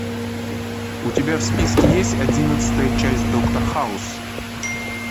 у тебя в списке есть одиннадцатая часть доктор хаус